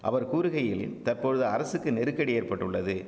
அவர் கூறுகையில் தற்பொழுது அரசுக்கு நெருக்கடி ஏற்பட்டுள்ளது